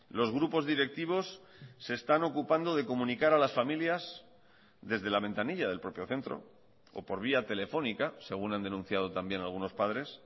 los grupos directivos se están ocupando de comunicar a las familias desde la ventanilla del propio centro o por vía telefónica según han denunciado también algunos padres